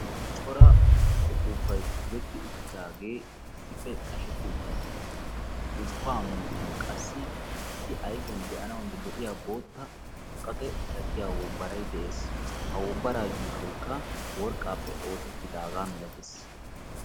corra ufuufay qashettidi uttissi ha ufuffa miyani issi be"anaw lo"ia bootta muqaqe oydekka yuushokka worqappe oosettidoge beettessi.